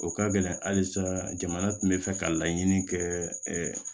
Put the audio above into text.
O ka gɛlɛn halisa jamana tun bɛ fɛ ka laɲini kɛɛ